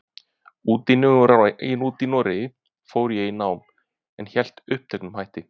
úti í Noregi fór ég í nám, en hélt uppteknum hætti.